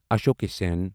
اشوق سٮ۪ن